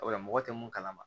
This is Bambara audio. Wala mɔgɔ tɛ mun kalama